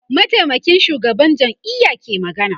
mataimakin shugaban jam'iya ke magana